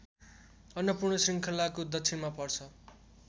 अन्नपूर्ण श्रृङ्खलाको दक्षिणमा पर्छ